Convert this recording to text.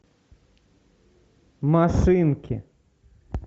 машинки